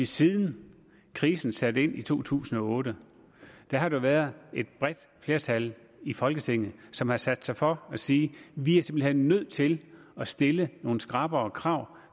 siden krisen satte ind i to tusind og otte har der været et bredt flertal i folketinget som har sat sig for at sige vi er simpelt hen nødt til at stille nogle skrappere krav